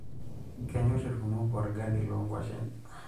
Kenyorr ilkumok olgali loonkuashen.